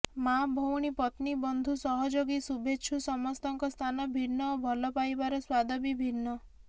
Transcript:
ମାଆ ଭଉଣୀ ପତ୍ନୀ ବନ୍ଧୁ ସହଯୋଗୀ ଶୁଭେଚ୍ଛୁ ସମସ୍ତଙ୍କ ସ୍ଥାନ ଭିନ୍ନ ଓ ଭଲପାଇବାର ସ୍ୱାଦ ବି ଭିନ୍ନ